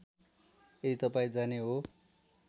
यदि तपाईँ जाने हो